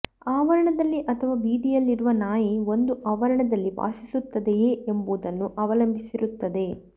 ಆವರಣದಲ್ಲಿ ಅಥವಾ ಬೀದಿಯಲ್ಲಿರುವ ನಾಯಿ ಒಂದು ಆವರಣದಲ್ಲಿ ವಾಸಿಸುತ್ತದೆಯೇ ಎಂಬುದನ್ನು ಅವಲಂಬಿಸಿರುತ್ತದೆ